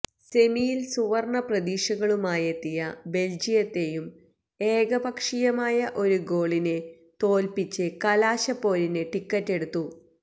സെമിയില് സുവര്ണ പ്രതീക്ഷകളുമായെത്തിയ ബെല്ജിയത്തെയും ഏകപക്ഷീയമായ ഒരു ഗോളിന് തോൽപ്പിച്ച് കലാശപ്പോരിന് ടിക്കറ്റ് എടുത്തു